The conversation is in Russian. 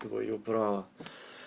твоё право